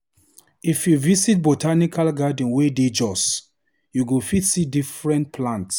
If you visit botanical garden wey dey Jos, you go fit see different-different plants.